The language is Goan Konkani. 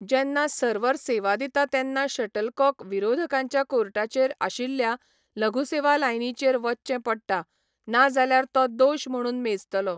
जेन्ना सर्वर सेवा दिता तेन्ना शटलकॉक विरोधकांच्या कोर्टाचेर आशिल्ल्या लघु सेवा लायनीचेर वचचें पडटा नाजाल्यार तो दोश म्हणून मेजतलो.